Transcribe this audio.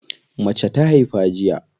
Mace ta haifa jiya.